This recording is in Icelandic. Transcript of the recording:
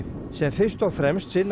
sem fyrst og fremst sinna